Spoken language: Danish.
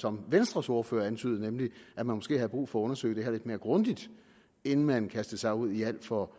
som venstres ordfører antydede nemlig at man måske havde brug for at undersøge det her lidt mere grundigt inden man kastede sig ud i alt for